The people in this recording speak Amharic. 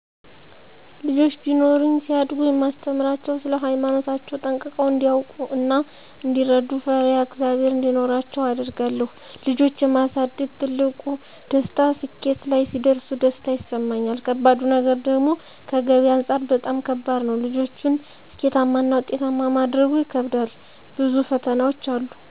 ልጆች ቢኖሩኝ ሲያድጉ የማስተምራቸዉ ስለ ሃይማኖታቸዉ ጠንቅቀዉ እንዲያዉቁ እና እንዲረዱ፣ ፈሪአ ፈሪሃ እግዝአብሔር እንዲኖራቸዉ አደርጋለሁ ልጆች የማሳደግ ትልቁ ደስታ ስኬት ላይ ሲደርሱ ደስታ ይሰማኛል ከባዱ ነገር ደግሞከገቢ አንፃር በጣም ከባድ ነዉ ልጆችን ስኬታማና ዉጤታማ ማድረጉ ይከብዳል ብዙ ፈተናዎች አሉ